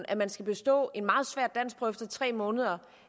at man skal bestå en meget svær danskprøve efter tre måneder